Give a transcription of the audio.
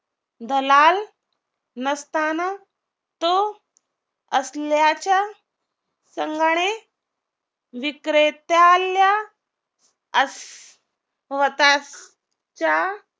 दलाल नसताना तो असल्याच्या संघाने विक्रेत्याला असं स्वतः च्या